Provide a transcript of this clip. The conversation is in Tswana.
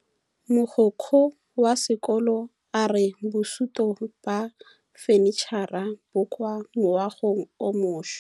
Mogokgo wa sekolo a re bosutô ba fanitšhara bo kwa moagong o mošwa.